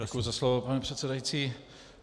Děkuji za slovo, pane předsedající.